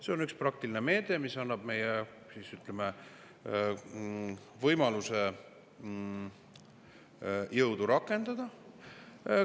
See on üks praktiline meede, mis annab meile võimaluse jõudu rakendada.